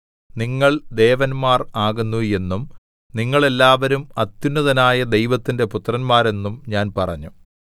നിങ്ങൾ ദേവന്മാർ ആകുന്നു എന്നും നിങ്ങൾ എല്ലാവരും അത്യുന്നതനായ ദൈവത്തിന്റെ പുത്രന്മാർ എന്നും ഞാൻ പറഞ്ഞു